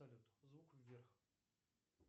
салют звук вверх